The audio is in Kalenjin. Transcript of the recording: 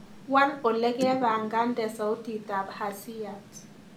Waal olegepangande sautitab hasiyat